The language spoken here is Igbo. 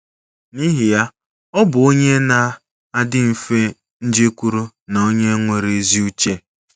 N’ihi ya, ọ bụ onye na - adị mfe njekwuru na onye nwere ezi uche.